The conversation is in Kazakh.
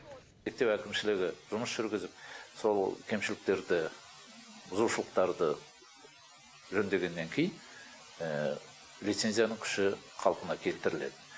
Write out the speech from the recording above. мектеп әкімшілігі жұмыс жүргізіп сол кемшіліктерді бұзушылықтарды жөндегеннен кейін лицензияның күші қалпына келтіріледі